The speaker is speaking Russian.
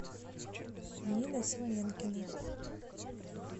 нина семенкина